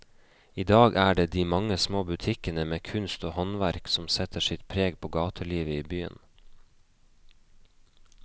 I dag er det de mange små butikkene med kunst og håndverk som setter sitt preg på gatelivet i byen.